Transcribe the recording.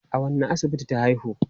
A wanne asibiti ta haihu?